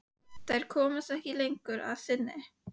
Þær komast ekki lengra að sinni.